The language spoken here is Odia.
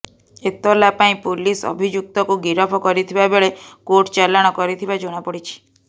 ଏତଲା ପାଇଁ ପୁଲିସ ଅଭିଯୁକ୍ତକୁ ଗିରଫ କରିଥିବା ବେଳେ କୋର୍ଟ ଚାଲାଣ କରିଥିବା ଜଣା ପଡ଼ିଛି